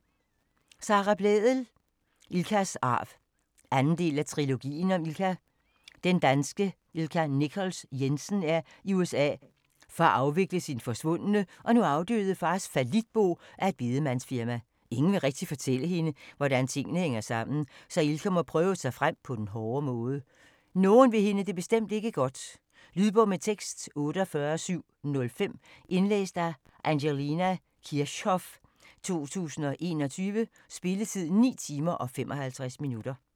Blædel, Sara: Ilkas arv 2. del af Trilogien om Ilka. Danske Ilka Nichols Jensen er i USA for at afvikle sin forsvundne og nu afdøde fars fallitbo af et bedemandsfirma. Ingen vil rigtig fortælle hende, hvordan tingene hænger sammen, så Ilka må prøve sig frem på den hårde måde. Nogen vil hende det bestemt ikke godt. Lydbog med tekst 48705 Indlæst af Angelina Kirchhoff, 2021. Spilletid: 9 timer, 55 minutter.